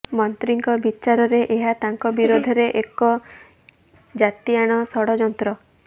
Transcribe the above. ମନ୍ତ୍ରୀଙ୍କ ବିଚାରରେ ଏହା ତାଙ୍କ ବିରୋଧରେ ଏକ ଜାତିଆଣ ଷଡ୍ଯନ୍ତ୍ର